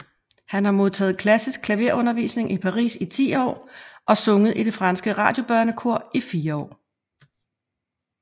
Han har modtaget klassisk klaverundervisning i Paris i 10 år og sunget i det franske radiobørnekor i fire år